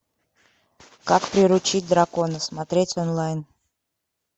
как приручить дракона смотреть онлайн